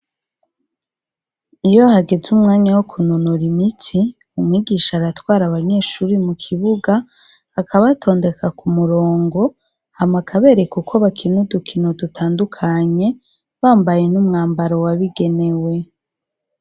Iyo hageze umwanya wo kunonora imitsi, umwigisha aratwara abanyeshure mu kibuga, akabatondeka ku murongo, hama akabereka uko bakina udukino dutandukanye, bambaye n'umwambaro wabigenewe.